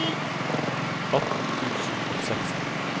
atten tusen og seksti